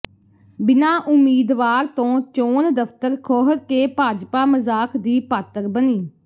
ਬਿਨਾਂ ਉਮੀਦਵਾਰ ਤੋਂ ਚੋਣ ਦਫ਼ਤਰ ਖੋਲ੍ਹ ਕੇ ਭਾਜਪਾ ਮਜ਼ਾਕ ਦੀ ਪਾਤਰ ਬਣੀ